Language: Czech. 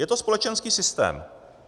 Je to společenský systém.